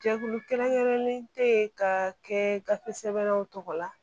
Jɛkulu kɛrɛnkɛrɛnlen tɛ ka kɛ gafe sɛbɛnnanw tɔgɔ la